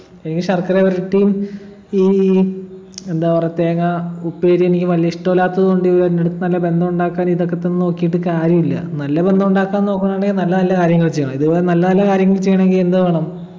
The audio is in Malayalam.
എനിക്ക് ശർക്കരവരട്ടിയും ഈ എന്താ പറ തേങ്ങാ ഉപ്പേരിയും എനിക്ക് വലിയ ഇഷ്ടല്ലാത്തതു കൊണ്ട് ഇവര് എൻ്റെടുത്ത് നല്ല ബന്ധമുണ്ടാക്കാൻ ഇതൊക്കെ തന്നു നോക്കീട്ട് കാര്യമില്ല നല്ല ബന്ധമുണ്ടാക്കാൻ നോക്കുന്നുണ്ടെങ്കി നല്ല നല്ല കാര്യങ്ങൾ ചെയ്യണം ഇത് പോലെ നല്ല നല്ല കാര്യങ്ങൾ ചെയ്യണെങ്കി എന്ത് വേണം